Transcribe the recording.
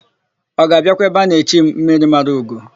Ọ ga-abịakwa ebe a na-echi m, Mmirimaraugo?